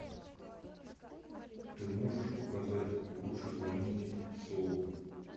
ты можешь показать лучше звоните солу